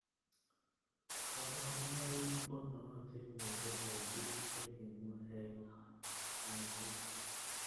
kabarunoik ko nootin missning eng bik chekimwa eng chnget.